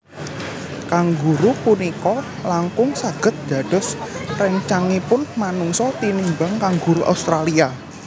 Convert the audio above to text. Kanguru punika langkung saged dados réncangipun manungsa tinimbang kanguru Australia